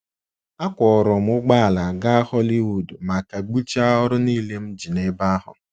Akwọọrọ m ụgbọala gaa Hollywood ma kagbuchaa ọrụ nile m ji n’ebe ahụ.